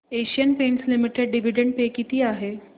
Asian Paints Limited dividend pay किती आहे